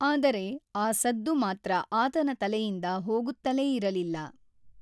ಆದರೆ, ಆ ಸದ್ದು ಮಾತ್ರ ಆತನ ತಲೆಯಿಂದ ಹೋಗುತ್ತಲೇ ಇರಲಿಲ್ಲ.